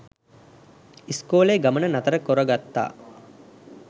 ඉස්කෝලේ ගමන නතර කොරගත්තා.